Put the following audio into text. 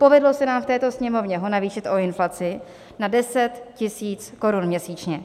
Povedlo se nám v této Sněmovně ho navýšit o inflaci na 10 000 Kč měsíčně.